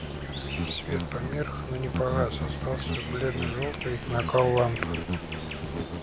свет померк но не погас остался бледно-жёлтый накал ламп